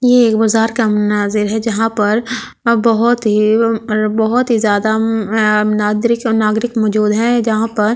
ये के बज़ार का मुनाज़िर है जहाँ पर अ बहुत ही अम अ बहुत ही ज़्यादा अम आ नाद्रिक अ नागरिक मौजूद हैं जहाँ पर--